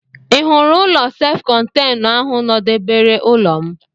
Ị hụrụ ụlọ self contenụ ahụ nọdebere ụlọ m?